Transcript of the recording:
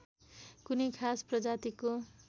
कुनै खास प्रजातिको